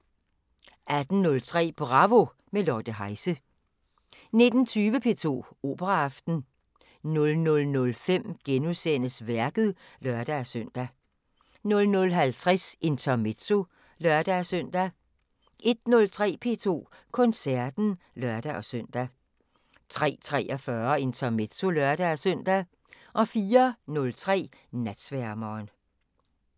18:03: Bravo – med Lotte Heise 19:20: P2 Operaaften 00:05: Værket *(lør-søn) 00:50: Intermezzo (lør-søn) 01:03: P2 Koncerten (lør-søn) 03:43: Intermezzo (lør-søn) 04:03: Natsværmeren